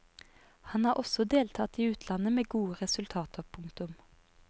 Han har også deltatt i utlandet med gode resultater. punktum